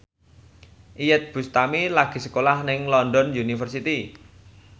Iyeth Bustami lagi sekolah nang London University